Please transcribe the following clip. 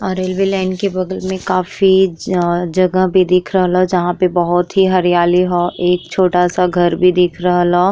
और railway line के बगल में काफी ज जगह भी दिखल रहल ह जहां पे बहुत ही हरियली ह एक छोटा सा घर भी दिख रहल ह।